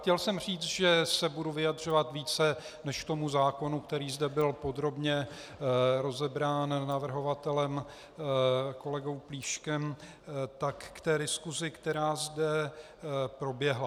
Chtěl jsem říct, že se budu vyjadřovat více než k tomu zákonu, který zde byl podrobně rozebrán navrhovatelem kolegou Plíškem, tak k té diskusi, která zde proběhla.